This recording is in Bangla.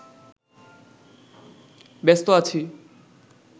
ব্যস্ত আছি